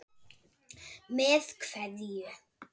Með kveðju.